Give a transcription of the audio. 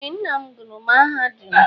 Ee, nnam gụrụ mahadum.